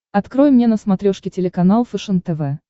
открой мне на смотрешке телеканал фэшен тв